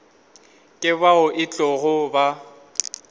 ke bao e tlogo ba